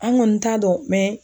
An ŋɔni t'a dɔn